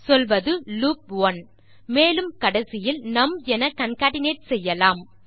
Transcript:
சொல்வது லூப் 1 மேலும் கடைசியில் நும் என கான்கேட்னேட் செய்யலாம்